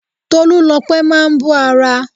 Tolúlopẹ́ máa bó ara.